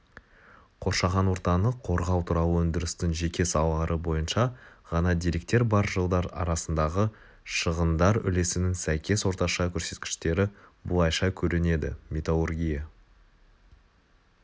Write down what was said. қоршаған ортаны қорғау туралы өндірістің жеке салалары бойынша ғана деректер бар жылдар арсындағы шығындар үлесінің сәйкес орташа көрсеткіштері былайша көрінеді металлургия